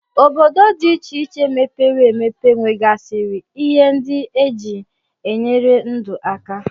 Obodo dị iche iche mepere emepe nwegasịrị ihe ndị e ji enyere ndu aka